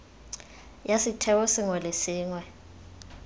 ya setheo sengwe le sengwe